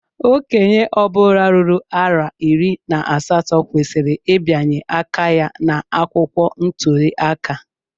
Okenye obula ruru arọ iri na asatọ kwesịrị ịbianye aka ya na akwụkwọ ntuli aka.